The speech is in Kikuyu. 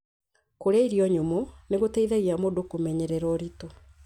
Kũrĩa irio nyũmũ nĩ gũteithagia mũndũ kũmenyerera ũritũ,